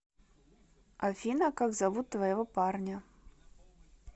афина как зовут твоего парня